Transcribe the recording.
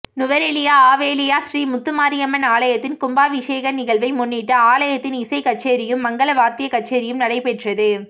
நுவரெலியா ஆவேலியா ஸ்ரீ முத்துமாரியம்மன் ஆலயத்தின் கும்பாபிசேஹ நிகழ்வை முன்னிட்டு ஆலயத்தில் இசை கச்சேரியும் மங்கள வாத்திய கச்சேரியும் நடைபெற்றது